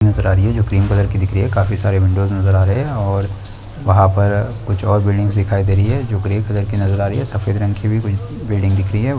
नजर आ रही है जो क्रीम कलर की दिख रही हैं काफी सारे विंडोस नजर आ रहे हैं और वहाँ पर कुछ और बिल्डिंग नजर आ रही हैं जो ग्रे कलर की कुछ सफ़ेद रंग की कुछ बिल्डिंग दिख रही है।